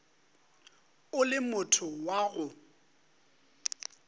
o le motho wa go